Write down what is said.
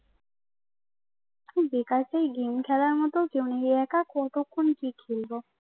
বেকার সেই গেম খেলার মত কতক্ষণ কি খেলব